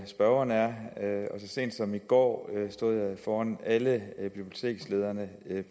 spørgeren er så sent som i går stod jeg foran alle bibliotekslederne